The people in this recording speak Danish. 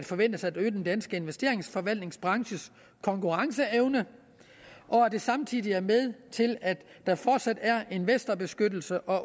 forventes at øge den danske investeringsforvaltningsbranches konkurrenceevne og at det samtidig er med til at der fortsat er investorbeskyttelse og